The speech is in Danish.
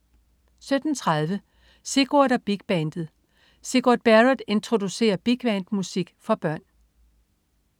17.30 Sigurd og Big Bandet. Sigurd Barrett introducerer bigband-musik for børn